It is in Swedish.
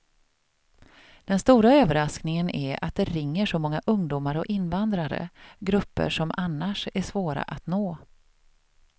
Den stora överraskningen är att det ringer så många ungdomar och invandrare, grupper som annars är svåra att nå.